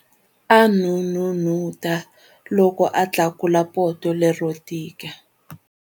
A n'unun'uta loko a tlakula poto lero tika.